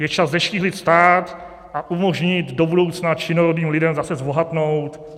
Je čas zeštíhlit stát a umožnit do budoucna činorodým lidem zase zbohatnout.